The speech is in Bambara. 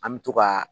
An bɛ to ka